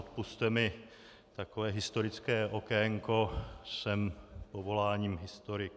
Odpusťte mi takové historické okénko, jsem povoláním historik.